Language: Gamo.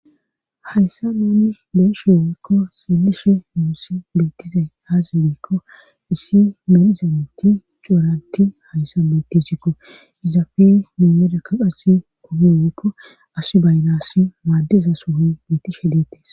hayssa nuune beeshe woykko xeelishe muusi beettizay haazagikko issi medizameti couranti hayssa bettesikko izafe miyodakka qassi ogi woykko as baylaassi maaddiza sohoy beettishe deettes.